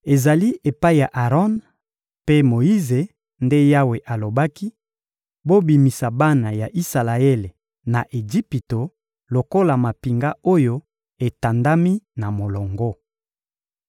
Ezali epai ya Aron mpe Moyize nde Yawe alobaki: «Bobimisa bana ya Isalaele na Ejipito lokola mampinga oyo etandami na molongo.»